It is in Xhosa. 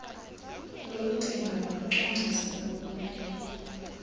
lokucinga nokucwangcisa ekumele